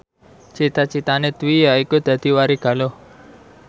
cita citane Dwi yaiku dadi warigaluh